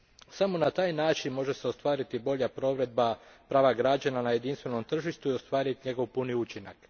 Samo na taj način može se ostvariti bolja provedba prava građana na jedinstvenom tržištu i ostvariti njegov puni učinak.